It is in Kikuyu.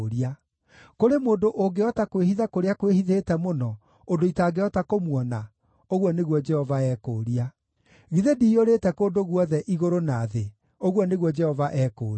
“Kũrĩ mũndũ ũngĩhota kwĩhitha kũrĩa kwĩhithĩte mũno, ũndũ itangĩhota kũmuona?” ũguo nĩguo Jehova ekũũria. “Githĩ ndiyũrĩte kũndũ guothe, igũrũ na thĩ?” ũguo nĩguo Jehova ekũũria.